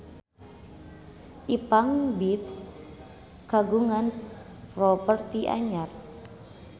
Ipank BIP kagungan properti anyar